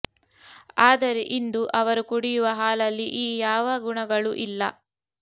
ಆದರೆ ಇಂದು ಅವರು ಕುಡಿಯುವ ಹಾಲಲ್ಲಿ ಈ ಯಾವ ಗುಣಗಳೂ ಇಲ್ಲ